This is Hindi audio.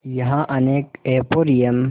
यहाँ अनेक एंपोरियम